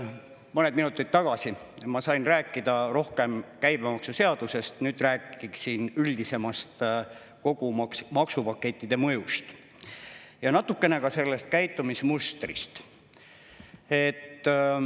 Mõned minutid tagasi ma sain rääkida rohkem käibemaksuseadusest, nüüd räägin üldisemalt kogu maksupaketi mõjust ja natukene ka sellest käitumismustrist.